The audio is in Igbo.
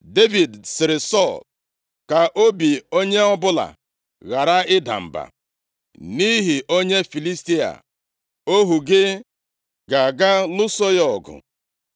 Devid sịrị Sọl, “Ka obi onye ọbụla ghara ịda mba nʼihi onye Filistia a; ohu gị ga-aga lụso ya ọgụ.”